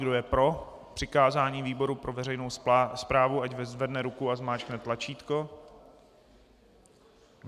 Kdo je pro přikázání výboru pro veřejnou správu, ať zvedne ruku a zmáčkne tlačítko.